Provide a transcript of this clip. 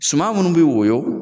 Suman minnu bɛ woyɔ,